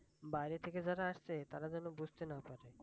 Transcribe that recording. বাইরে থেকে যারা আসে তারা যেন বুঝতে না পারে